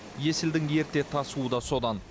есілдің ерте тасуы да содан